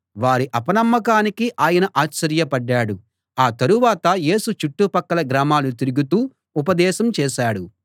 వారి అపనమ్మకానికి ఆయన ఆశ్చర్యపడ్డాడు ఆ తరువాత యేసు చుట్టుపక్కల గ్రామాలు తిరుగుతూ ఉపదేశం చేశాడు